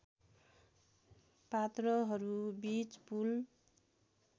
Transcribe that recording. पात्रहरूबीच पुल